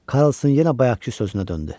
Karsson yenə bayaqkı sözünə döndü.